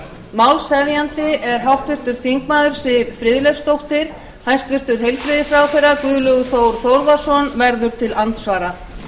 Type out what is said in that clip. málshefjandi er háttvirtur þingmaður siv friðleifsdóttir hæstvirtur heilbrigðisráðherra guðlaugur þór þórðarson verður til andsvara